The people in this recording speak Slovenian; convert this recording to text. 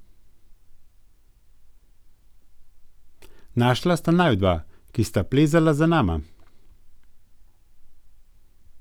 Našla sta naju dva, ki sta plezala za nama.